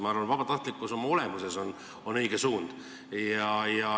Ma arvan, et vabatahtlikkus oma olemuses on õige suund.